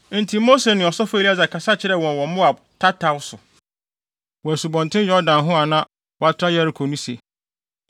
Enti Mose ne ɔsɔfo Eleasar kasa kyerɛɛ wɔn wɔ Moab tataw so, wɔ Asubɔnten Yordan ho a na wɔatra Yeriko no se,